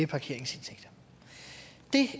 parkeringsindtægter det